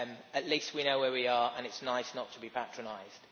At least we know where we are, and it is nice not to be patronised.